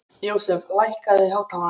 Jósef, lækkaðu í hátalaranum.